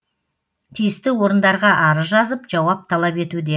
тиісті орындарға арыз жазып жауап талап етуде